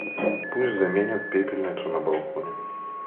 пусть заменят пепельницу на балконе